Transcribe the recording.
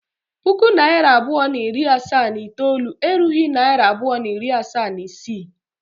puku naira abụọ na iri asaa na itoolu erughị naịra abụọ na iri asatọ na isii.